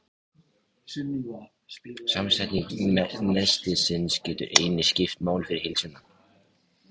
Samsetning nestisins getur einnig skipt máli fyrir heilsuna.